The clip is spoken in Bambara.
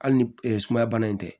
Hali ni sumaya bana in tɛ